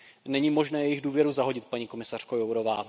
Není možné jejich důvěru zahodit, paní komisařko Jourová.